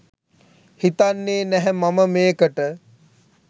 හිතන්නේ නැහැ මම මේකට.